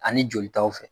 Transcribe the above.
Ani jolitaw fɛ